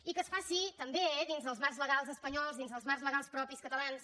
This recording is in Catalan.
i que es faci també dins els marcs legals espanyols dins els marcs legals propis catalans